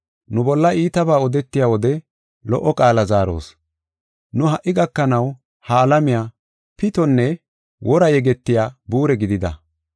Nu bolla iitabaa odetiya wode lo77o qaala zaaros. Nu ha77i gakanaw ha alamiya pitonne wora yegetiya buure gidida.